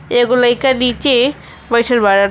एगो लइका नीचे बइठल बाड़न।